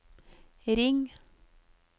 ring